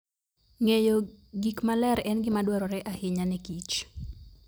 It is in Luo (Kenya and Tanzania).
Ng'eyo gik maler en gima dwarore ahinya ne kich